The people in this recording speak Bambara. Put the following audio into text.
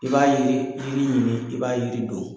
I b'a yiri yiri ɲini, i b'a yiri don.